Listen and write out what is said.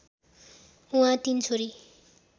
उहाँ तीन छोरी